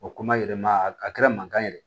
O kuma yɛlɛma a kɛra mankan yɛrɛ ye